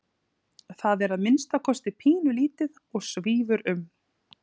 Þetta er að minnsta kosti pínulítið og svífur um.